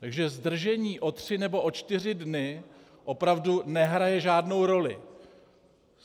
Takže zdržení o tři nebo o čtyři dny opravdu nehraje žádnou roli.